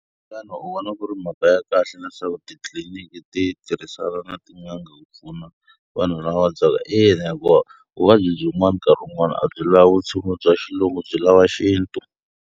Xana u vona ku ri mhaka ya kahle leswaku titliliniki ti tirhisana na tin'anga ku pfuna vanhu lava va vabyaka? Ina, hikuva vuvabyi byin'wana nkarhi wun'wani a byi lavi vutshunguri bya xilungu byi lava xintu.